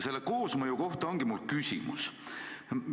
Selle koosmõju kohta ongi mul küsimus.